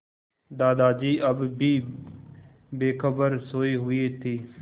दादाजी अब भी बेखबर सोये हुए थे